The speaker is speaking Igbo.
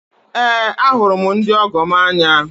Eé, ahụrụ m ndị ọgọ m n'anya.